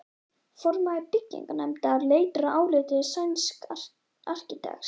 Formaður byggingarnefndar leitar álits sænsks arkitekts.